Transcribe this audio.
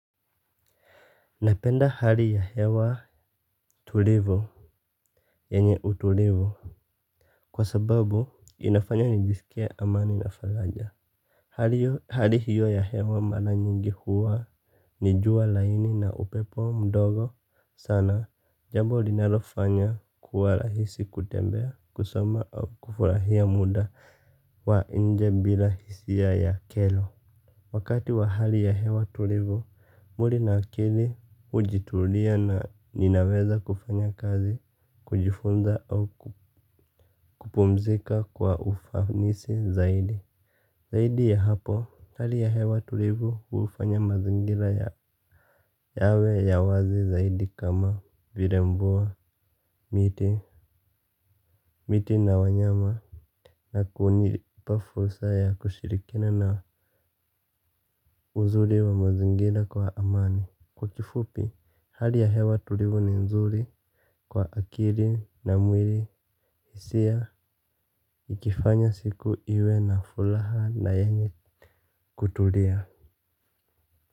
Napenda hali ya hewa tulivu yanye utulivu kwa sababu inafanya nijisikie amani na faraja hali hio hali hio ya hewa mara nyingi huwa. Ni jua laini na upepo mdogo sana jambo linalofanya kuwa rahisi kutembea kusoma au kufurahia muda wa nje bila hisia ya kero. Wakati wa hali ya hewa tulivu, mwili na akili hujitulia na ninaweza kufanya kazi, kujifunza au kupumzika kwa ufanisi zaidi. Zaidi ya hapo, hali ya hewa tulivu hufanya mazingira yawe ya wazi zaidi kama vile mvua miti miti na wanyama na kunipa fursa ya kushirikiana na uzuri wa mazingira kwa amani. Kwa kifupi, hali ya hewa tulivu ni nzuri kwa akili na mwili hisia ikifanya siku iwe na furaha na yenye kutulia.